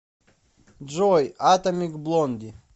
джой атомик блонди